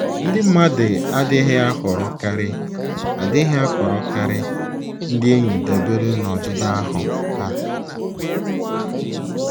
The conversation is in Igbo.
Ndị mmadụ adịghị ahọrọkarị adịghị ahọrọkarị ndị enyi dabere n’ọdịdị ahụ́ ha.